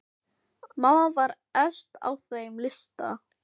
Mamma var efst á þeim lista.